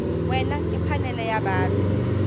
wena ke phanele ya batho